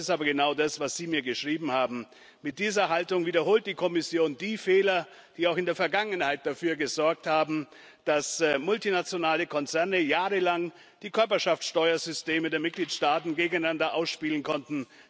Das ist aber genau das, was Sie mir geschrieben haben. Mit dieser Haltung wiederholt die Kommission die Fehler, die auch in der Vergangenheit dafür gesorgt haben, dass multinationale Konzerne jahrelang die Körperschaftsteuersysteme der Mitgliedstaaten gegeneinander ausspielen konnten.